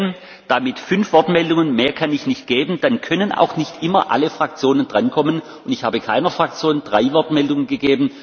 Im Redeplan sind fünf Minuten vorgesehen damit fünf Wortmeldungen, mehr kann ich nicht geben. Dann können auch nicht immer alle Fraktionen drankommen.